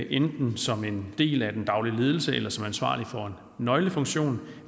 enten som en del af den daglige ledelse eller som ansvarlige for en nøglefunktion